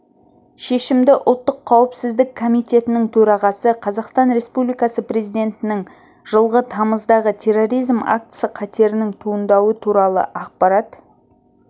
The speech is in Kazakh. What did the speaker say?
шешімді ұлттық қауіпсіздік комитетінің төрағасы қазақстан республикасы президентінің жылғы тамыздағы терроризм актісі қатерінің туындауы туралы ақпарат